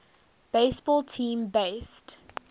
baseball team based